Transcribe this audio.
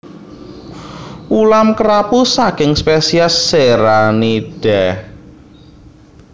Ulam kerapu saking spesies Serranidae